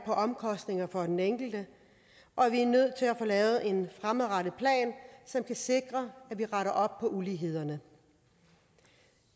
omkostninger for den enkelte og vi er nødt til at få lavet en fremadrettet plan som kan sikre at vi retter op på ulighederne